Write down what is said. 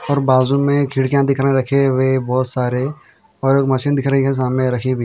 और बाजू में खिड़कियां दिखने रखे हुए बहुत सारे और एक मशीन दिख रही हैं सामने रखी हुई।